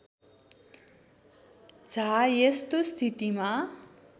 झा यस्तो स्थितिमा